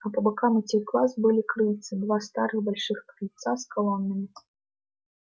а по бокам этих глаз были крыльца два старых больших крыльца с колоннами